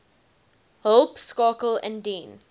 hulp skakel indien